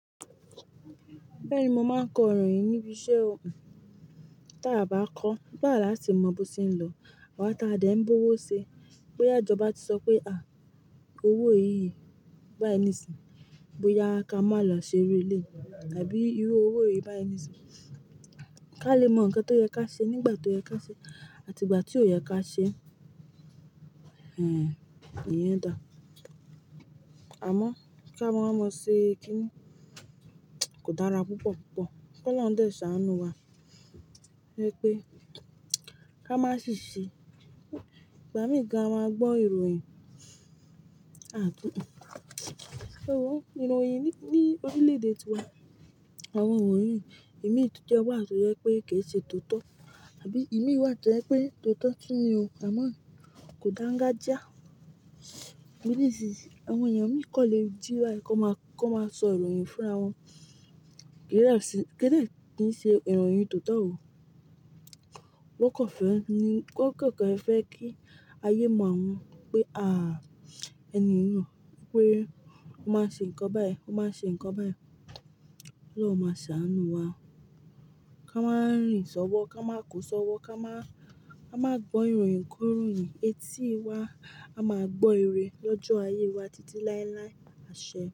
Bẹ́ẹ̀ni, mo máa kọ ìròyìn níbi iṣẹ́ ọkùn, tí a bá kọ́, gbà láti mọ bó ti ń lọ, àwọn tá a dà ẹ́ ń búwọ́ ṣe, pé àjọ bá ti sọ pé à owó èyí yìí bá ẹ níìsín, bóyá ká máa lọ ṣeré lé e tàbí irú owó èyí bá ẹ níìsín, ká lè mọ ǹkan tó yẹ ká ṣe nígbà tó yẹ ká ṣe àti ìgbà tí ò yẹ ká ṣe. Hhm, ìyẹn dà. Àmọ́ kí a máa mọ̀ ṣe kíni kò dára púpọ̀púpọ̀. K'ọlọhun dẹ̀ ṣàánú wa pé ká má sì ṣe, ìgbà míì gan à máa gbọ́ ìròyìn. A tún nù. Òun, ìròyìn ni ní orílẹ̀ èdè tiwa, àwọn ìròyìn ìmítjẹ wà tó yẹ pé kì í ṣe tótọ́ tàbí ìmí wà tó yẹ pé tótọ́ tún ni o, àmọ́ kò dáńgájíá. Ní ìsìsì àwọn èèyàn mìí kò le jíra kí won máa kí won máa sọ ìròyìn fúnra wọn. Kíni láti ṣe, kíni láti ní ṣe ìròyìn tótọ́ ò. Wọ́n kàn fẹ́ ni wọ́n kàn kàn fẹ́ kí ayé mọ̀ wọ́n pé à ẹni nìkan pé ó máa ń ṣe nǹkan báyìí, ó máa ń ṣe nǹkan báyìí. Ọlọ́run máa ṣàánú wa. Ká máa rìn ṣọwọ́, ká máa kó ṣọwọ́, ká máa ká máa gbọ́ ìròyìn kó ìròyìn. Etí wa á máa gbọ́ ire lọ́jọ́ ayé wa títí láéláé. Àṣẹ.